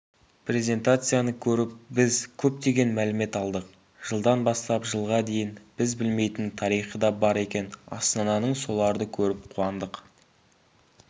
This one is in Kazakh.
призентацияны көріп біз көптеген мәлімет алдық жылдан бастап жылға дейін біз білмейтін тарихы да бар екен астананың соларды көріп қуандық